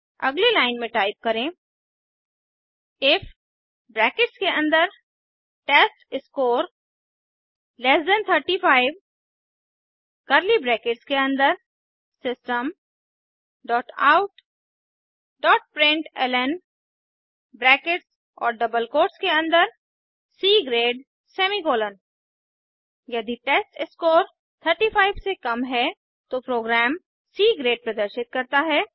अगली लाइन में टाइप करें इफ ब्रैकेट्स के अन्दर test score less than 35 curly brackets के अन्दर system dot out dot println brackets और डबल कोट्स के अन्दर सी ग्रेड सेमीकोलन यदि टेस्टस्कोर 35 से कम है तो प्रोग्राम सी ग्रेड प्रदर्शित करता है